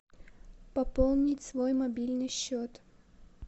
пополнить свой мобильный счет